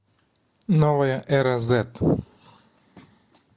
новая эра зед